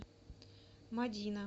мадина